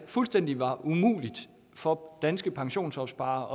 fuldstændig umuligt for danske pensionsopsparere